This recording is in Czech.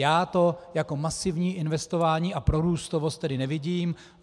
Já to jako masivní investování a prorůstovost tedy nevidím.